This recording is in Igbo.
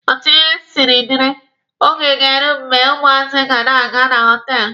Otu ihe siri dịrị, Oge ga-eru mgbe ụmụazị ga na-aga na họtelụ.